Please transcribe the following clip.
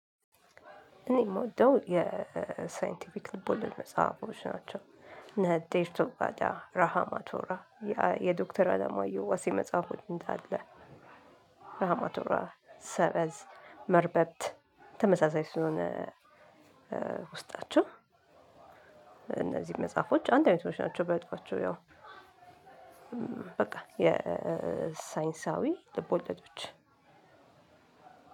እኔ ምወደው የሳይንቲፊክል ልቦለድ መጽሐፎች ናቸው። ነጠይባዳ ራሃማቶራ የዶክተር አለማየሁ ወሲ መጽሐፍ ሆኜ እንዳለ። ራሃማቶራ ሰበዝ መርበት ተመሳሳይ ስለሆነ። ውስጣቸው። እነዚህ መጽሐፎች አንድ አይነቶች ናቸው በጠፋቸው ያው በቃ የሳይንሳዊ ልቦለዶች።